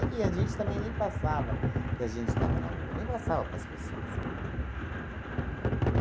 E a gente também nem passava, que a gente estava na rua, nem passava para as pessoas.